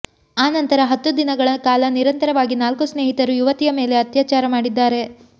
ಆ ನಂತರ ಹತ್ತು ದಿನಗಳ ಕಾಲ ನಿರಂತರವಾಗಿ ನಾಲ್ಕು ಸ್ನೇಹಿತರು ಯುವತಿಯ ಮೇಲೆ ಅತ್ಯಾಚಾರ ಮಾಡಿದ್ದಾರೆ